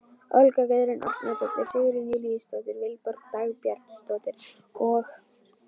Olga Guðrún Árnadóttir, Sigrún Júlíusdóttir, Vilborg Dagbjartsdóttir og